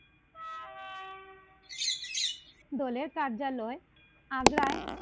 দলের কার্যালয় আগ্রায়